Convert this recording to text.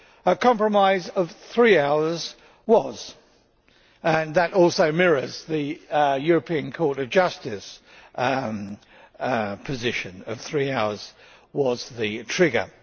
a compromise of three hours was, and that also mirrors the European Court of Justice's position of three hours as the trigger.